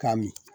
K'a min